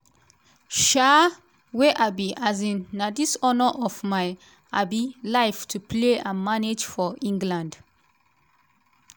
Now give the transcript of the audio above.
um wey i be um na di honor of my um life to play and manage for england.